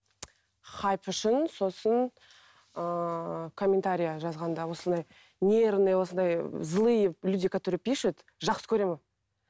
хайп үшін сосын ааа комментария жазғанда осындай нервный осындай злые люди которые пишут жақсы көремін